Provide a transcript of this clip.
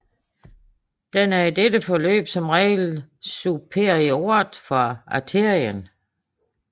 Den er i dette forløb som regel superiort for arterien